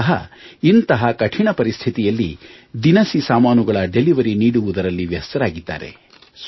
ಇವರೂ ಸಹ ಇಂತಹ ಕಠಿಣ ಪರಿಸ್ಥಿತಿಯಲ್ಲಿ ದಿನಸಿ ಸಾಮಾನುಗಳ ಡಿಲಿವರಿ ನೀಡುವುದರಲ್ಲಿ ವ್ಯಸ್ತರಾಗಿದ್ದಾರೆ